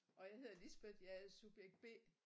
Og jeg hedder Lisbeth jeg er subjekt B